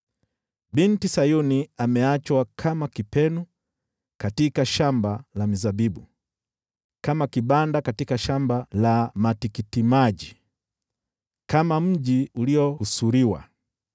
Binti Sayuni ameachwa kama kipenu katika shamba la mizabibu, kama kibanda katika shamba la matikitimaji, kama mji uliohusuriwa.